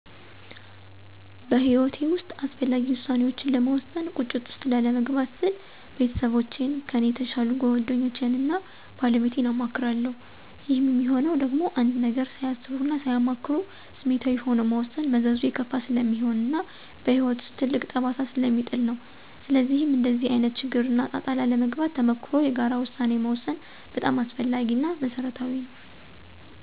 በሕይወቴ ውስጥ አስፈላጊ ውሳኔዎችን ለመወሰን ቁጭት ውስጥ ላለመግባት ስል ቤተሰቦቼን; ከኔ የተሻሉ ጓደኞቼን እና ባለቤቴን አማክራለሁ። ይህም ሚሆነው ደግሞ አንድን ነገር ሳያስቡ እና ሳያማክሩ ስሜታዊ ሆኖ መወሰን መዘዙ የከፋ ስለሚሆን እና በህይወት ውስጥ ትልቅ ጠባሳ ስለሚጥል ነው። ስለዚህም እንደዚህ አይነት ችግር እና ጣጣ ላለመግባት ተመካክሮ የጋራ ውሳኔ መወሰን በጣም አስፈላጊ እና መሰረታዊ ነው።